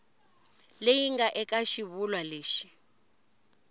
leyi nga eka xivulwa lexi